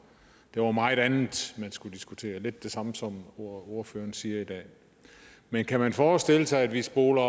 der var meget andet man skulle diskutere det er lidt det samme som ordføreren siger i dag men kan man forestille sig at vi spoler